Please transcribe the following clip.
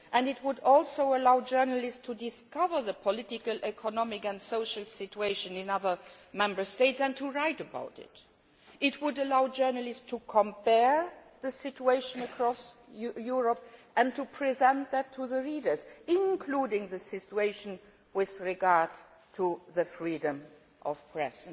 States. It would also allow journalists to discover the political, economic and social situation in other Member States and to write about it. It would allow journalists to compare the situation across Europe and to present that to the readers, including the situation with regard to freedom of the